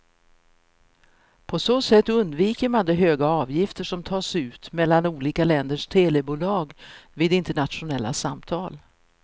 På så sätt undviker man de höga avgifter som tas ut mellan olika länders telebolag vid internationella samtal.